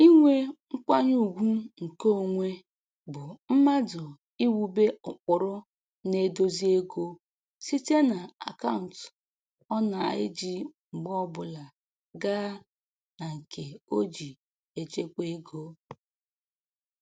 Inwe nkwanyeugwu nke onwe bụ mmadụ iwube ụkpụrụ na-edozi ego site na akaụntụ ọ na-eji mgbe ọbụla gaa na nke o ji echekwa ego